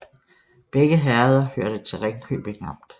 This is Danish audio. Begge herreder hørte til Ringkøbing Amt